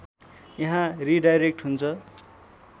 यहाँ रिडाइरेक्ट हुन्छ